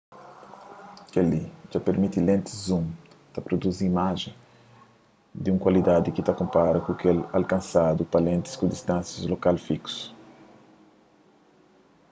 kel-li dja permiti lentis zoom pa pruduzi imajens di un kualidadi ki ta konpara ku kel alkansadu pa lentis ku distánsia lokal fiksu